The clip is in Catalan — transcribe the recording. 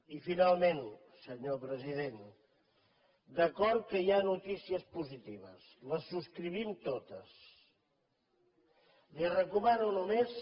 i finalment senyor president d’acord que hi ha notícies positives les subscrivim totes li recomano només